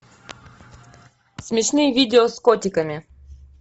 смешные видео с котиками